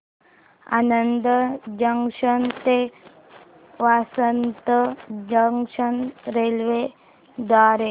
Anand junction ते Vasad junction railway द्वारे